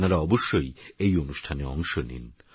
আপনারাঅবশ্যইএইঅনুষ্ঠানেঅংশনিন